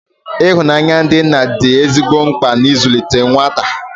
Ihụnanya ndị nna dị ezigbo mkpa na nzụlite nwata